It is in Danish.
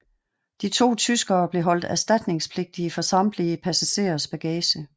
De to tyskere blev holdt erstatningspligtige for samtlige passagerers bagage